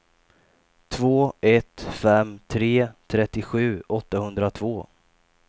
två ett fem tre trettiosju åttahundratvå